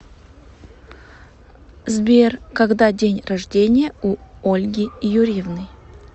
сбер когда день рождения у ольги юрьевны